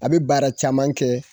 A bɛ baara caman kɛ